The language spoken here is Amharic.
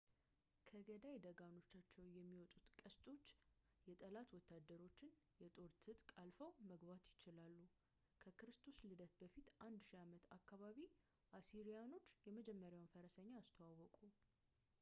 ከገዳይ ደጋኖቻቸው የሚወጡት ቀስቶች የጠላት ወታደሮቻቸውን የጦር ትጥቅ አልፈው መግባት ይችላሉ ከክርስቶስ ልደት በፊት 1000 ዓመት አካባቢ አሲሪያኖች የመጀመሪያውን ፈረሰኛ አስተዋወቁ